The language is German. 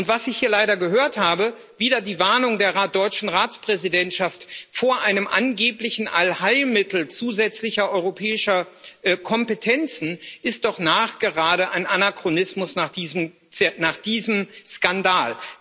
Was ich hier leider gehört habe wieder die Warnung der deutschen Ratspräsidentschaft vor einem angeblichen Allheilmittel zusätzlicher europäischer Kompetenzen ist doch nachgerade ein Anachronismus nach diesem Skandal.